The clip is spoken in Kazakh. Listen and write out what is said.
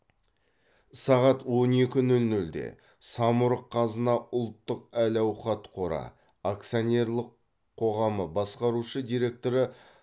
сағат он екі нөл нөлде самұрық қазына ұлттық әл ауқат қоры акционерлік қоғамы басқарушы директоры